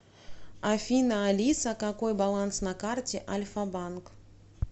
афина алиса какой баланс на карте альфа банк